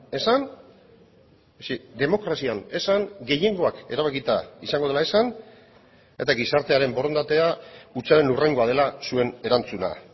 esan demokrazian esan gehiengoak erabakita izango dela esan eta gizartearen borondatea hutsaren hurrengoa dela zuen erantzuna